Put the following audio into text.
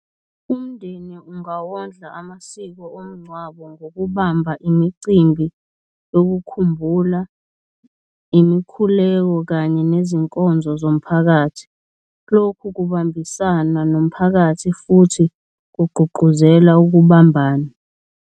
Umndeni ungawondla amasiko omngcwabo ngokubamba imicimbi yokukhumbula, imikhuleko kanye nezinkonzo zomphakathi. Lokhu kubambisana nomphakathi futhi kugqugquzela ukubambana.